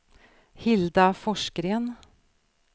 Hilda Forsgren